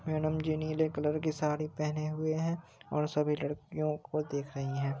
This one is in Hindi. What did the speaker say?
मैडम जी नीले कलर की साड़ी पहने हुए है और सभी लडकियों को देख रही हैं।